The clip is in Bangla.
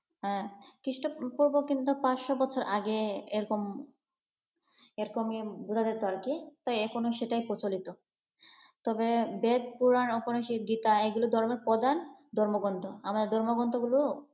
হ্যাঁ খ্রীস্টপূর্ব কিন্তু পাঁচশো বছর আগে এরকম এরকম বুঝা যেতো আর কি এখনও সেটা প্রচলিত। তবে বেদ-পুরা্‌ন, উপনিষ্‌দ গীতা এগুলো ধর্মের প্রধান ধর্মগ্রন্থ, আমাদের ধর্মগ্রন্থগুলো,